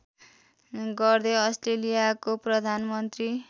गर्दै अस्ट्रेलियाको प्रधानमन्त्री